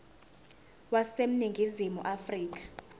wase ningizimu afrika